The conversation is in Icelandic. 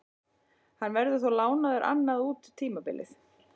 Hann verður þó lánaður annað út tímabilið.